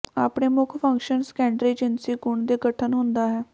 ਆਪਣੇ ਮੁੱਖ function secondary ਜਿਨਸੀ ਗੁਣ ਦੇ ਗਠਨ ਹੁੰਦਾ ਹੈ